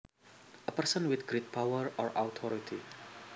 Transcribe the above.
A person with great power or authority